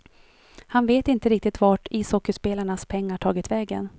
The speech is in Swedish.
Han vet inte riktigt vart ishockeyspelarnas pengar tagit vägen.